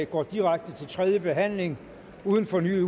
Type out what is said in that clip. går direkte til tredje behandling uden fornyet